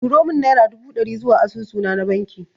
Turo mun naira dubu ɗari zuwa asusu na na banki